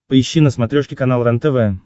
поищи на смотрешке канал рентв